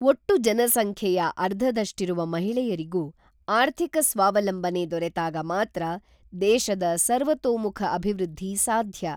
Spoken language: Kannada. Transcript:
ಒಟ್ಟು ಜನಸಂಖ್ಯೆಯ ಅರ್ಧದಷ್ಟಿರುವ ಮಹಿಳೆಯರಿಗೂ ಆರ್ಥಿಕ ಸ್ವಾವಲಂಬನೆ ದೊರೆತಾಗ ಮಾತ್ರ ದೇಶದ ಸರ್ತೋಮುಖ ಅಭಿವೃದ್ಧಿ ಸಾಧ್ಯ.